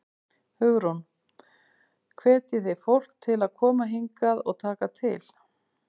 Hugrún: Hvetjið þið fólk til að koma hingað og taka til?